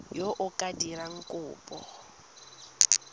yo o ka dirang kopo